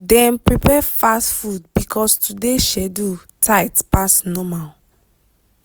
dem prepare fast food because today schedule tight pass normal.